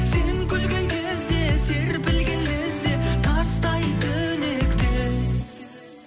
сен күлген кезде серпілген лезде тастайды лекте